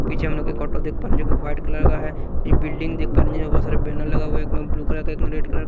पीछे हम लोग एक ऑटो देख पा रहे हैं जो कि व्हाईट कलर का है ये बिल्डिंग देख पा रहे हैं जिसमें बहुत सारे बैनर लगा हुआ है एक में ब्लू कलर का एक में रेड कलर --